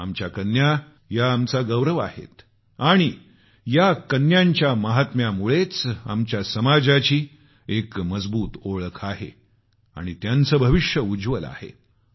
आमच्या कन्या या आमचा गौरव आहेत आणि या कन्यांच्या महिम्यामुळेच आमच्या समाजाची एक मजबूत ओळख आहे आणि त्याचं भविष्य उज्वल आहे